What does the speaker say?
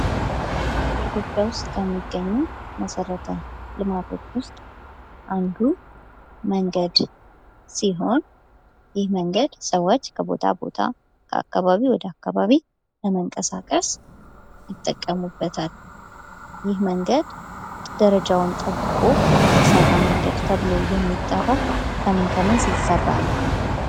በኢትዮጵያ ውስጥ ከሚገኙ መሰረተ ልማቶች ውስጥ አንዱ መንገድ ሲሆን፤ ይህ መንገድ ሰዎች ከቦታ ቦታ ከአካባቢ ወደ አካባቢ ለመንቀሳቀስ ይጠቀሙበታል። ይህ መንገድ ደረጃውን ጠብቆ የተሰራ መንገድ ተብሎ የሚጠራው ከምን ከምን ሲሰራ ነው?